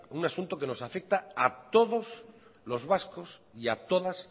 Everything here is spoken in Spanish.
un asunto que nos afecta a todos los vascos y a todas